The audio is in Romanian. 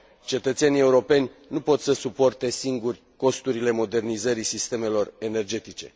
Cetățenii europeni nu pot să suporte singuri costurile modernizării sistemelor energetice.